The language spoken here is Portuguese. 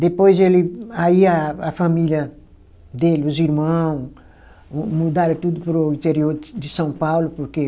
Depois ele, aí a a família dele, os irmão, mudaram tudo para o interior de de São Paulo, porque